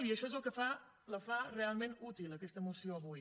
i això és el que la fa realment útil aquesta moció avui